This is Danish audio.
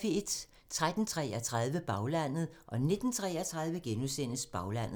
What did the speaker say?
13:33: Baglandet 19:33: Baglandet *